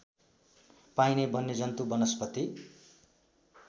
पाइने वन्यजन्तु वनस्पति